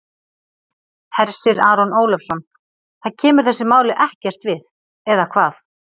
Hersir Aron Ólafsson: Það kemur þessu máli ekkert við, eða hvað?